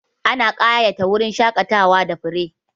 Ana ƙayata wurin shaƙatawa da fure.